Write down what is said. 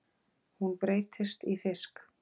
Hún breytist í fisk.